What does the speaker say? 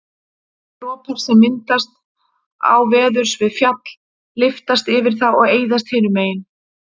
dropar sem myndast áveðurs við fjall lyftast yfir það og eyðast hinu megin